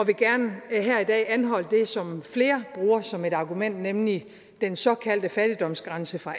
og i dag anholde det som flere bruger som et argument nemlig den såkaldte fattigdomsgrænse fra